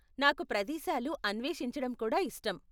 నాకు ప్రదేశాలు అన్వేషించడం కూడా ఇష్టం.